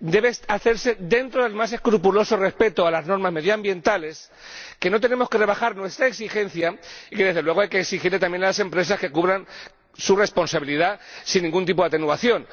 debe hacerse dentro del más escrupuloso respeto de las normas medioambientales, en que no tenemos que rebajar nuestra exigencia y en que, desde luego, hay que exigirles también a las empresas que cubran su responsabilidad sin ningún tipo de atenuación.